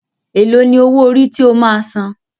Ẹ̀ló ní owó orí tí o máa a san?